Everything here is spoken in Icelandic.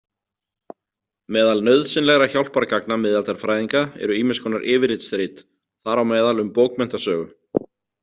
Meðal nauðsynlegra hjálpargagna miðaldafræðinga eru ýmiss konar yfirlitsrit, þar á meðal um bókmenntasögu.